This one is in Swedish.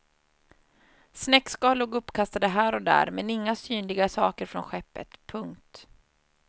Snäckskal låg uppkastade här och där men inga synliga saker från skeppet. punkt